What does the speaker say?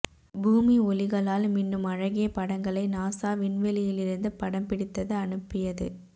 பூமி ஒளிகளால் மின்னும் அழகிய படங்களை நாசா விண்வெளியிலிருந்து படம் பிடித்தது அனுப்பியது